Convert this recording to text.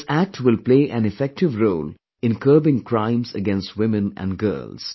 This Act will play an effective role in curbing crimes against women and girls